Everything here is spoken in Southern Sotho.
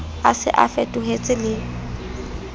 a se a fetohetse le